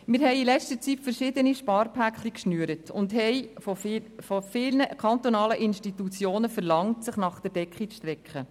Wir haben in letzter Zeit verschiedene Sparpakete geschnürt und von vielen kantonalen Institutionen verlangt, sich nach der Decke zu strecken.